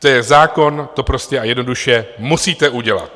To je zákon, to prostě a jednoduše musíte udělat.